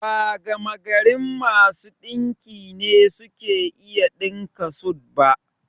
Ba gamagarin masu ɗinki ne suke iya ɗinka sut ba